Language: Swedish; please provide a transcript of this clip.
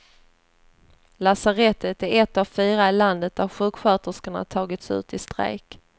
Lasarettet är ett av fyra i landet där sjuksköterskorna tagits ut i strejk.